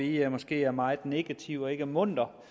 jeg måske er meget negativ og ikke er munter